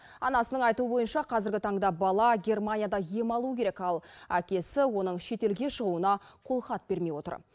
анасының айтуы бойынша қазіргі таңда бала германияда ем алуы керек ал әкесі оның шетелге шығуына қолхат бермей отыр